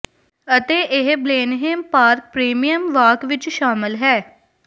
ਅਤੇ ਇਹ Blenheim park premium walk ਵਿਚ ਸ਼ਾਮਲ ਹੈ